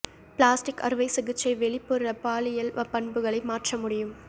plastic அறுவை சிகிச்சை வெளிப்புற பாலியல் பண்புகளை மாற்ற முடியும்